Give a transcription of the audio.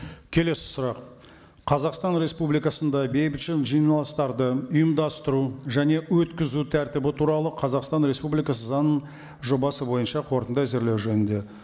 келесі сұрақ қазақстан республикасында бейбіт жиналыстарды ұйымдастыру және өткізу тәртібі туралы қазақстан республикасы заңының жобасы бойынша қорытынды әзірлеу жөнінде